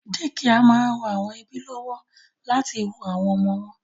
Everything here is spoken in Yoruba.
Dékià máa ń ran àwọn ẹ́bí lọ́wọ́ láti wo àwọn ọmọ wọn